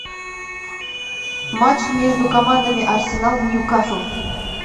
матч между командами арсенал ньюкасл